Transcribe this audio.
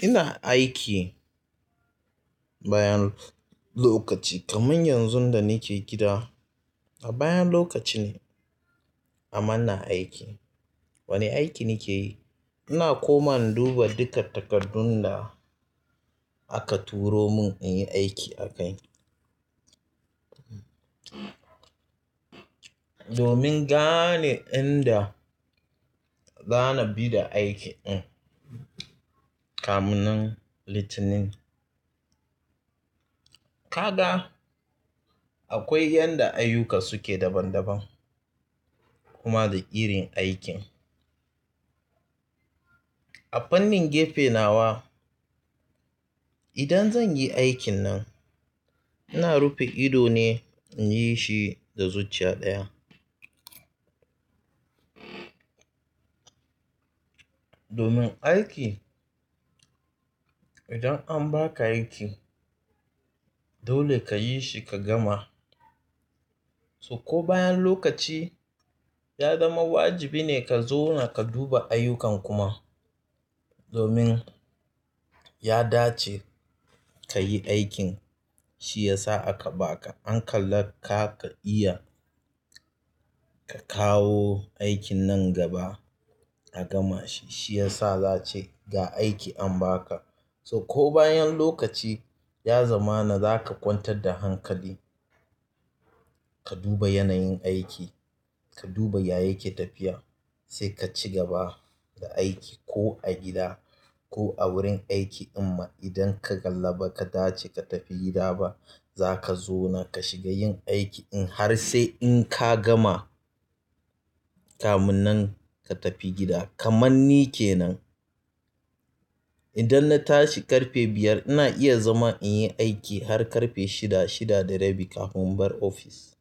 Ina aiki bayan lokaci kamar yanzun da nake gida. A bayan lokaci ne amma ina aiki. Wane aiki nake yi? Ina koma in duba duka takardun da aka turo mun in yi aiki a kai. Domin gane inda za na bi da aiki in kamunan littini. Ka ga akwai yadda ayyuka suke daban daban kuma da irin aikin. A fannin gefe nawa idan zan yi aikin nan, ina rufe ido ne in yi shi da zuciya ɗaya. Domin aiki idan an ba ka aiki dole ka yi shi ka gama. So ko bayan lokaci ya zama wajibi ne ka zauna ka duba ayyukan kuma domin ya dace ka yi aiki, shi ya sa aka ba ka. An kalla ka iya ka kawo aikin nan gaba a gama shi. Shi ya sa za a ce ga aiki an ba ka. So ko bayan lokaci ya zama na za ka kwantar da hankali ka duba yanayin aiki, ka duba ya yake tafiya sai ka ci gaba da aiki ko a gida ko a wurin aiki. Amma idan ka kalla ba ka dace ka tafi gida ba, za ka zauna ka shiga yin aiki in har sai in ka gama kamunan ka tafi gida kaman ni kenan. Idan na tashi ƙarfe biyar ina iya zama in yi aiki har ƙarfe shida, shida da rabi kafin in bar ofis.